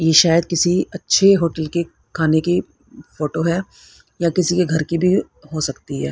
ये शायद किसी अच्छे होटल के खाने की फोटो है या किसी के घर की भी हो सकती है।